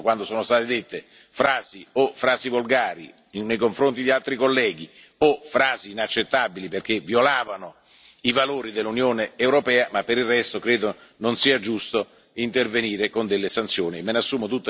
Sono intervenuto quando sono state dette frasi volgari nei confronti di altri colleghi o frasi inaccettabili perché violavano i valori dell'Unione europea, ma per il resto credo non sia giusto intervenire con delle sanzioni.